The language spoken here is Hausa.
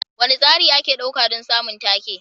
Wane tsari ake ɗauka don samun take?